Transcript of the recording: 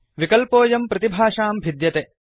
विकल्पोऽयं प्रतिभाषां भिद्यते